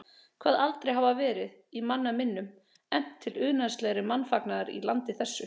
Kvað aldrei hafa verið, í manna minnum, efnt til unaðslegri mannfagnaðar í landi þessu.